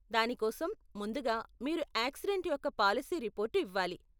దాని కోసం, ముందుగా, మీరు యాక్సిడెంట్ యొక్క పాలసీ రిపోర్టు ఇవ్వాలి.